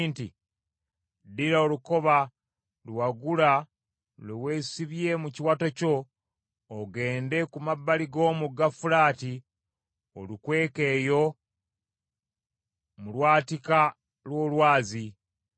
nti, “Ddira olukoba lwe wagula lwe weesibye mu kiwato kyo ogende ku mabbali g’omugga Fulaati olukweke eyo mu lwatika lw’olwazi.”